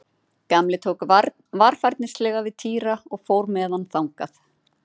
Gamli tók varfærnislega við Týra og fór með hann þangað.